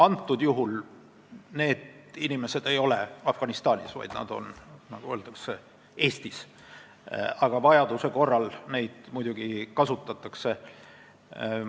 Antud juhul need inimesed ei ole Afganistanis, vaid nad on Eestis, nagu öeldud, aga vajaduse korral neid muidugi kasutatakse.